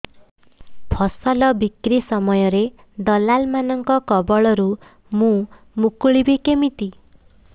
ଫସଲ ବିକ୍ରୀ ସମୟରେ ଦଲାଲ୍ ମାନଙ୍କ କବଳରୁ ମୁଁ ମୁକୁଳିଵି କେମିତି